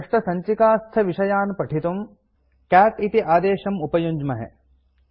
सृष्टसञ्चिकास्थविषयान् पठितुं कैट् इति आदेशम् उपयुञ्ज्महे